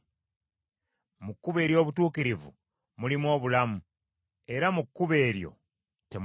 Mu kkubo ery’obutuukirivu mulimu obulamu, era mu kkubo eryo temuli kufa.